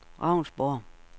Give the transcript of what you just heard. Ravnsborg